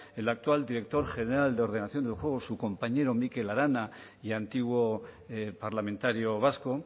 el actual director general de ordenación del juego su compañero mikel arana y antiguo parlamentario vasco